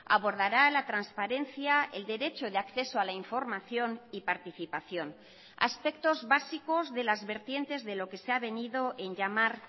abordará la transparencia el derecho de acceso a la información y participación aspectos básicos de las vertientes de lo que se ha venido en llamar